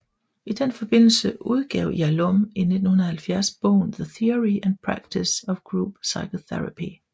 I den forbindelse udgav Yalom i 1970 bogen The Theory and Practice of Group Psychotherapy